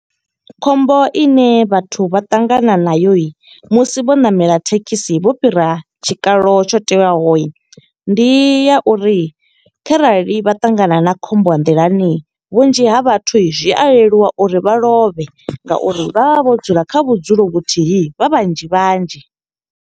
Khombo ine vhathu vha ṱangana nayo musi vho ṋamela thekhisi vho fhira tshikalo tsho teaho. Ndi ya uri kharali vha ṱangana na khombo ya nḓilani, vhunzhi ha vhathu zwi a leluwa uri vha lovhe, nga uri vha vha vho dzula kha vhudzulo vhuthihi vha vhanzhi vhanzhi.